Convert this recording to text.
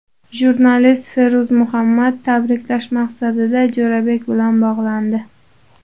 Jurnalist Feruz Muhammad tabriklash maqsadida Jo‘rabek bilan bog‘landi.